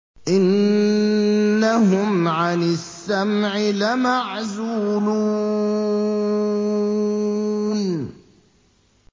إِنَّهُمْ عَنِ السَّمْعِ لَمَعْزُولُونَ